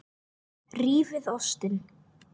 Rífið ostinn.